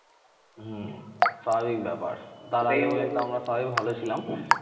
হম স্বাভাবিক ব্যাপার তার আগে আমরা সবাই ভালো ছিলাম